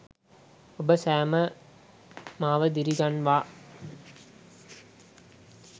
ඔබ සැම මාව දිරි ගන්වා